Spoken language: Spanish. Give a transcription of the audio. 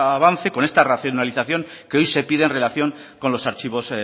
avance con esta racionalización que hoy se piden en relación con los archivos